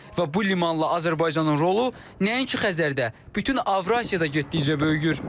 Və bu limanla Azərbaycanın rolu nəinki Xəzərdə, bütün Avrasiyada getdikcə böyüyür.